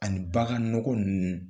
Ani bagan nɔgɔ ninnu